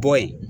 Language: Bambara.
Bɔ yen